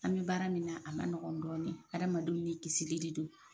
An bɛ baara min na a ma nɔgɔn dɔɔni, adamadenw ni kisili de don.